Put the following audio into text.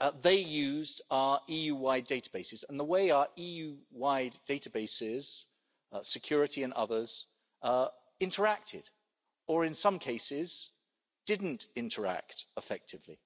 that they used our EU wide databases and the way our EU wide databases security and others interacted or, in some cases, didn't interact effectively.